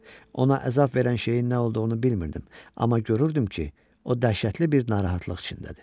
Ona əzab verən şeyin nə olduğunu bilmirdim, amma görürdüm ki, o dəhşətli bir narahatlıq içindədir.